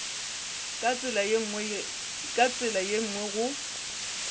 ka tsela ye nngwe go